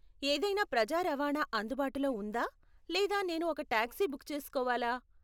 ఏదైనా ప్రజా రవాణా అందుబాటులో ఉందా లేదా నేను ఒక టాక్సీ బుక్ చేసుకోవాలా?